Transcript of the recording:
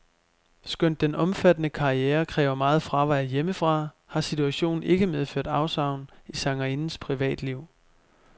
Skønt den omfattende karriere kræver meget fravær hjemmefra, har situationen ikke medført afsavn i sangerindens privatliv.